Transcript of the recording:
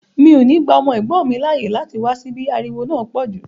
Mi ò ní gba ọmọ ẹ̀gbọ́n mi láàyè láti wá síbí, ariwo náà pọ̀ jù